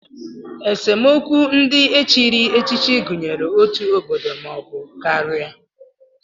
Esemokwu ndị e chiri echichi gụnyere otu obodo maọbụ karịa